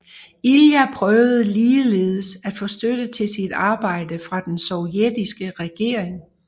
Ilja prøvede ligeledes at få støtte til sit arbejde fra den sovjetiske regering